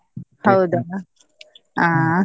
ಅಹ್.